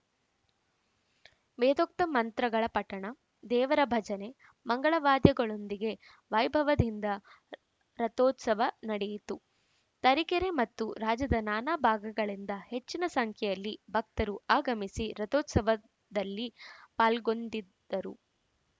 ವೇದೋಕ್ತ ಮಂತ್ರಗಳ ಪಠಣ ದೇವರ ಭಜನೆ ಮಂಗಳವಾದ್ಯಗಳೊಂದಿಗೆ ವೈಭವದಿಂದ ರಥೋತ್ಸವ ನಡೆಯಿತು ತರೀಕೆರೆ ಮತ್ತು ರಾಜ್ಯದ ನಾನಾ ಭಾಗಗಳಿಂದ ಹೆಚ್ಚಿನ ಸಂಖ್ಯೆಯಲ್ಲಿ ಭಕ್ತರು ಆಗಮಿಸಿ ರಥೋತ್ಸವದಲ್ಲಿ ಪಾಲ್ಗೊಂಡಿದ್ದರು